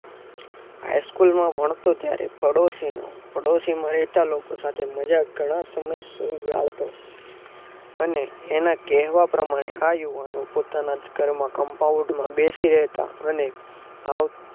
HighSchool માં ભણતો ત્યાર પડોશીનું પાડોશીમાં રહેતા લોકો સાથે મજાક ઘણા સમય સુધી ગાળતો અને અને એના કેહવા પ્રમાણે આ યુવાનો પોતાના જ કર્મ કંપાઉંડમાં બેસી રહેતા અને